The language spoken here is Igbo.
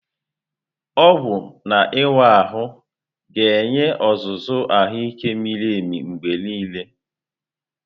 Ọgwụ na ịwa ahụ ga-enye ọzụzụ ahụike miri emi mgbe niile.